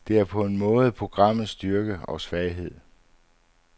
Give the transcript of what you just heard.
Det er på en måde programmets styrke og svaghed.